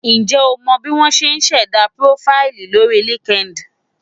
Ǹjẹ́ o mọ bí wọ́n ṣe ń ṣẹ̀dá púrófáìlì lórí LinkedIn?